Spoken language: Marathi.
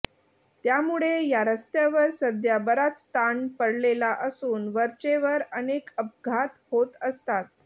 त्यामुळे या रस्त्यावर सध्या बराच ताण पडलेला असून वरचेवर अनेक अपघात होत असतात